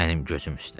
Mənim gözüm üstə.